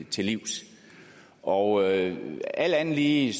til livs og alt alt andet lige